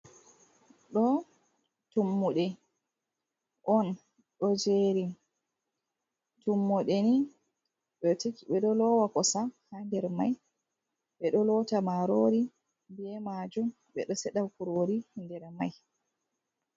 Ɗo tummude on ɗo jeri. tummude ni ɓe ɗo lowa kosam ha ɗer may ɓeɗo lota marori be majum ɓeɗo seɗa kurori nder mai.